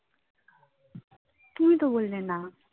তুমি তো বললে না.